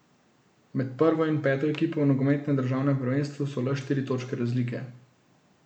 Med prvo in peto ekipo v nogometnem državnem prvenstvu so le štiri točke razlike.